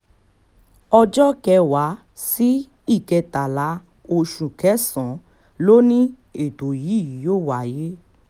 ọjọ́ kẹwàá sí ìkẹtàlá oṣù kẹsàn-án ló ní ètò yìí yóò wáyé